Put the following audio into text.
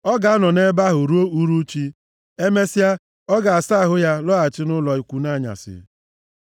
Ọ ga-anọ nʼebe ahụ ruo uhuruchi, emesịa, ọ ga-asa ahụ ya lọghachi nʼụlọ ikwu nʼanyasị.